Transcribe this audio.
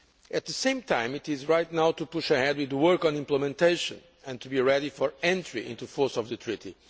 At the same time, it is right to push ahead now with the work on implementation and to be ready for the entry into force of the Treaty.